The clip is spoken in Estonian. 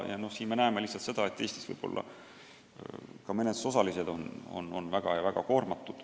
Lihtsalt ongi nii, et Eestis on menetlusosalised väga koormatud.